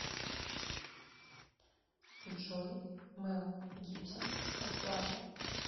джой мел гибсон расплата